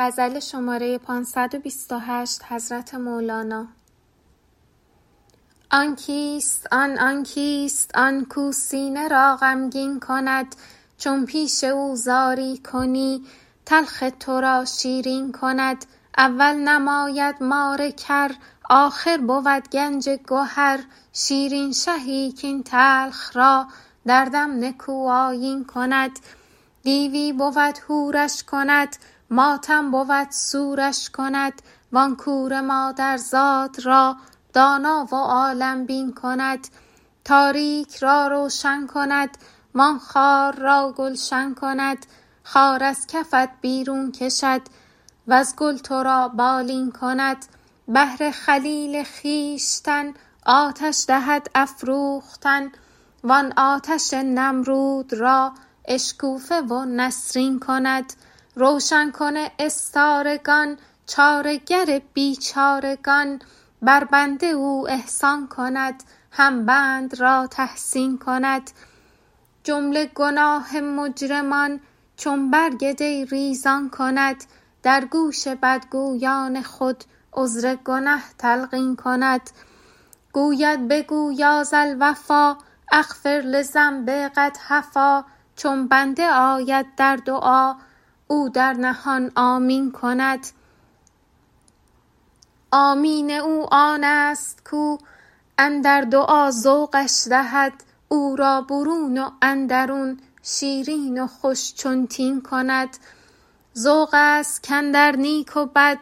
آن کیست آن آن کیست آن کاو سینه را غمگین کند چون پیش او زاری کنی تلخ تو را شیرین کند اول نماید مار کر آخر بود گنج گهر شیرین شهی کاین تلخ را در دم نکوآیین کند دیوی بود حورش کند ماتم بود سورش کند وان کور مادرزاد را دانا و عالم بین کند تاریک را روشن کند وان خار را گلشن کند خار از کفت بیرون کشد وز گل تو را بالین کند بهر خلیل خویشتن آتش دهد افروختن وان آتش نمرود را اشکوفه و نسرین کند روشن کن استارگان چاره گر بیچارگان بر بنده او احسان کند هم بند را تحسین کند جمله گناه مجرمان چون برگ دی ریزان کند در گوش بدگویان خود عذر گنه تلقین کند گوید بگو یا ذا الوفا اغفر لذنب قد هفا چون بنده آید در دعا او در نهان آمین کند آمین او آنست کاو اندر دعا ذوقش دهد او را برون و اندرون شیرین و خوش چون تین کند ذوق ست کاندر نیک و بد